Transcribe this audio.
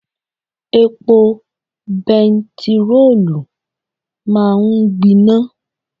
Epo bẹntiróòlù máa ń gbiná.